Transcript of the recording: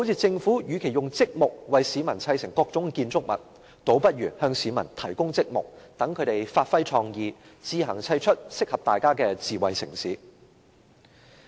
政府與其用積木為市民砌成各種建築物，不如向市民提供積木，讓他們發揮創意，自行砌出適合大家的智慧城市。